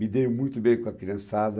Me dei muito bem com a criançada.